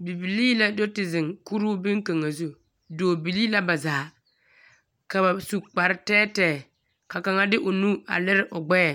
Bibilii la do te zeŋ kuruu beŋkaŋa zu. Dɔɔbilii la ba zaa, ka ba su kparetɛɛtɛɛ, ka kaŋa de o nu a lere o gbɛɛ.